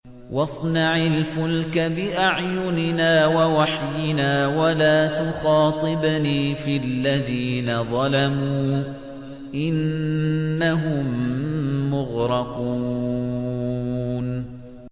وَاصْنَعِ الْفُلْكَ بِأَعْيُنِنَا وَوَحْيِنَا وَلَا تُخَاطِبْنِي فِي الَّذِينَ ظَلَمُوا ۚ إِنَّهُم مُّغْرَقُونَ